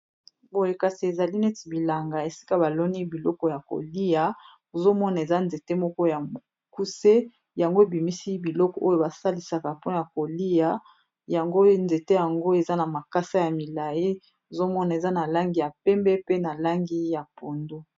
Boye kasi ezali neti bilanga esika baloni biloko ya kolia ozomona eza nzete moko ya mokuse yango ebimisi biloko oyo ba salisaka pona kolia yango nzete yango eza na makasa ya milayi ozomona eza na langi ya pembe pe na langi ya pondu.